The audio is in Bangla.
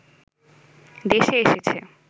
দেশে এসেছে